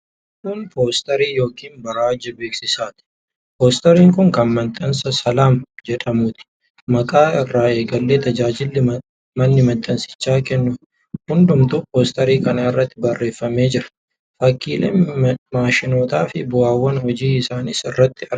Kun poosterii yookiin barjaa beeksisaati. Poosteriin kun kan mana maxxansaa Salaam jedhamuuti. Maqaa irraa eegalee tajaajilli manni maxxansichaa kennu hundumtuu poosterii kana irratti barreeffamee jira. Fakkiileen maashinootaa fi bu'aawwan hojii isaaniis irratti argama.